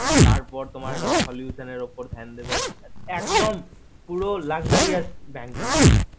তার পর তোমার solution এর ওপর ধ্যান দেবে একদম পুরো luxurious bank বলতে পারো